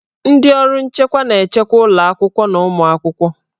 Ndị ọrụ nchekwa na-echekwa ụlọ akwụkwọ na ụmụ akwụkwọ.